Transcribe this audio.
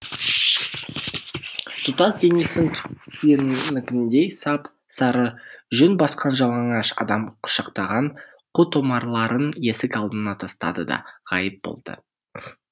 тұтас денесін түйенікіндей сап сары жүн басқан жалаңаш адам құшақтаған қу томарларын есік алдына тастады да ғайып болды